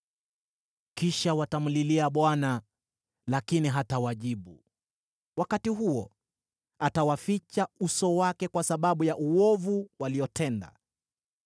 Kisha watamlilia Bwana , lakini hatawajibu. Wakati huo atawaficha uso wake kwa sababu ya uovu waliotenda.